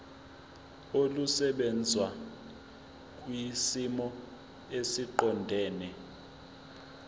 olusebenza kwisimo esiqondena